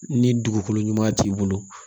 Ni dugukolo ɲuman t'i bolo